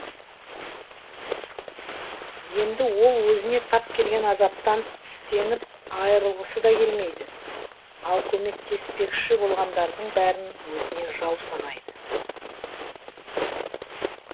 енді ол өзіне тап келген азаптан тістеніп айырылғысы да келмейді ал көмектеспекші болғандардың бәрін өзіне жау санайды